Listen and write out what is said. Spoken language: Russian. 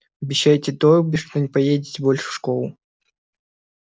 обещайте добби что не поедете больше в школу